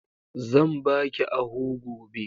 Zan baki ahu gobe.